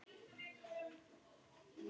Gutti sagði mér frá því.